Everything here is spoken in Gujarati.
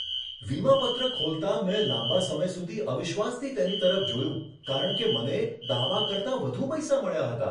વીમા પત્ર ખોલતાં મેં લાંબા સમય સુધી અવિશ્વાસથી તેની તરફ જોયું કારણ કે મને દાવા કરતાં વધુ પૈસા મળ્યા હતા.